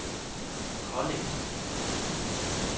Kolding